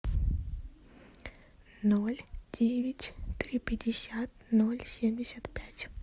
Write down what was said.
ноль девять три пятьдесят ноль семьдесят пять